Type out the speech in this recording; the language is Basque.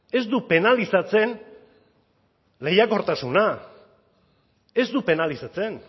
ez du penalizatzen lehiakortasuna ez du penalizatzen